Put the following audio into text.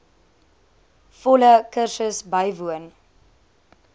volle kursus bywoon